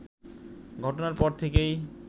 ঘটনার পর থেকেই